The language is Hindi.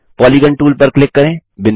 पॉलीगॉन टूल पर क्लिक करें